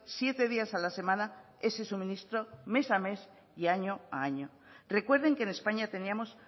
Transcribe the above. siete días a la semana ese suministro mes a mes y año a año recuerden que en españa teníamos